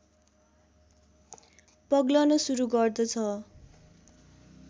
पग्लन सुरु गर्दछ